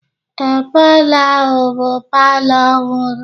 Ee, palọ ahụ bụ palọ ọhụrụ.